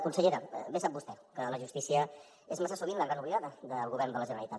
consellera bé sap vostè que la justícia és massa sovint la gran oblidada del govern de la generalitat